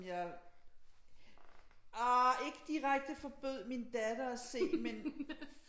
Jeg ah ikke direkte forbød min datter at se men